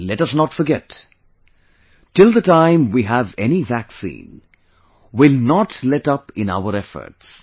And let us not forget, till the time we have any vaccine, we will not let up in our efforts